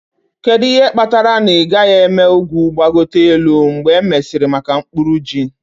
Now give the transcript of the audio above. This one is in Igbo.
Kedu ihe kpatara na ị gaghị eme ugwu gbagote elu mgbe e mesịrị maka mkpuru ji?.